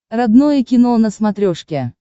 родное кино на смотрешке